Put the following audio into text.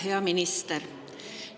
Hea minister!